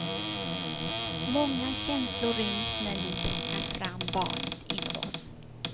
Många känslor ryms när vi plockar fram barnet inom oss.